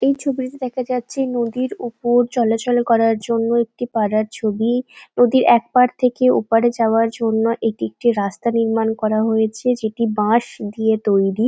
এই ছবিটিতে দেখা যাচ্ছে নদীর উপর চলাচল করার জন্য একটি পাড়ার ছবি। নদীর এক পার থেকে ওপারে যাওয়ার জন্য এটি একটি রাস্তা নির্মাণ করা হয়েছে যেটি বাঁশ দিয়ে তৈরী।